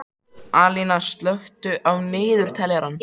Alíana, slökktu á niðurteljaranum.